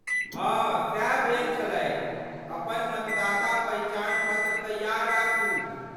हँ, सैह भेल छलैक। अपन मतदाता पहिचान पत्र तैयार राखू।